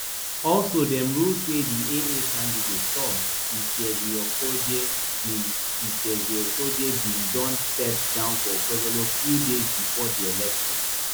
also dem rule say di aa candidate tom iseghhiokojie bin iseghhiokojie bin don step down for okpebholo few days bifore di election